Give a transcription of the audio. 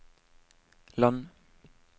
land